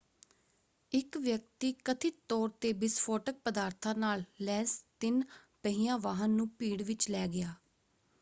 ਇੱਕ ਵਿਅਕਤੀ ਕਥਿਤ ਤੌਰ 'ਤੇ ਵਿਸਫੋਟਕ ਪਦਾਰਥਾਂ ਨਾਲ ਲੈਸ ਤਿੰਨ-ਪਹੀਆ ਵਾਹਨ ਨੂੰ ਭੀੜ ਵਿੱਚ ਲੈ ਗਿਆ।